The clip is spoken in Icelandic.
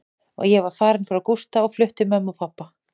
Ég var farin frá Gústa og flutt til mömmu og pabba.